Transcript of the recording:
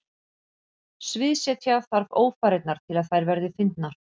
Sviðsetja þarf ófarirnar til að þær verði fyndnar.